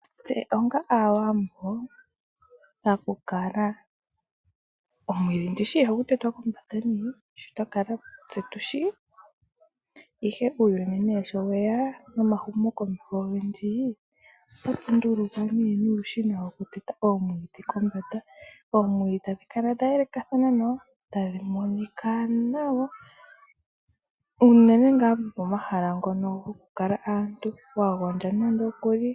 Tse onga Aawambo, paku kala, omwiidhi ndishi ihagu tetwa kombanda nee? Shi twa kala tse tushi. Ihe uuyuni sho weya nomahumokomeho ogendji, otatu nduluka nuushina woku teta omwiidhi kombanda. Oomwiidhi tadhi kala dha yelekathana nawa, tadhi monika nawa unene ngaa gopomahala mpono hapu kala aantu, wa gondja nando okuli.